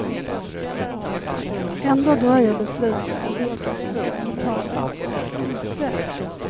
Ändå dröjer besluten om vilka som ska åtalas och inte.